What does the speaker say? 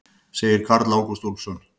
Segir Karl Ágúst Úlfsson.